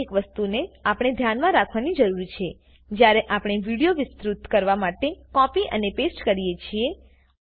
તો આ એક વસ્તુને આપણે ધ્યાનમાં રાખવાની જરૂર છે જ્યારે આપણે વિડીયો વિસ્તૃત કરવા માટે કોપી અને પેસ્ટ કરીએ છીએ